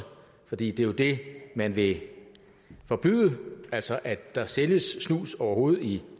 for det er jo det man vil forbyde altså at der sælges snus overhovedet i